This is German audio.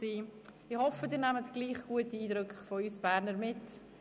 Ich hoffe, Sie nehmen trotzdem gute Eindrücke von uns Bernern mit.